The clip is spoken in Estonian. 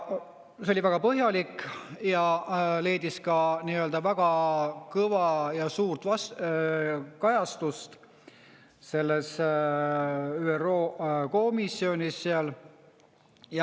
See oli väga põhjalik ja leidis ka väga kõva ja suurt kajastust selles ÜRO komisjonis.